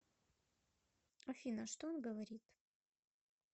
афина что он говорит